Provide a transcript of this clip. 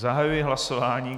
Zahajuji hlasování.